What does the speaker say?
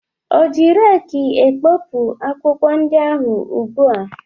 Ọ ji reekị ekpopụ akwụkwọ ndị ahụ ugbua?